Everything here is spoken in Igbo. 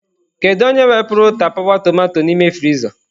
Kedu onye wepụrụ tapawa tomato n'ime friza?